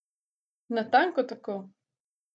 Natanko tako!